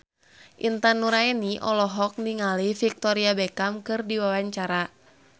Intan Nuraini olohok ningali Victoria Beckham keur diwawancara